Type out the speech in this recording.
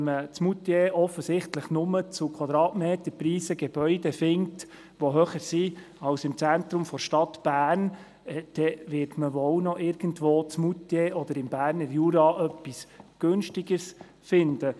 Wenn man in Moutier offensichtlich nur Gebäude zu höheren Quadratmeterpreisen findet als im Zentrum der Stadt Bern, wird mal wohl noch irgendwo in Moutier oder im Berner Jura etwas Günstigeres finden.